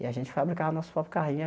E a gente fabricava nosso próprio carrinho.